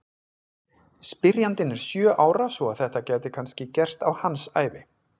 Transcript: Spyrjandinn er sjö ára svo að þetta gæti kannski gerst á hans ævi!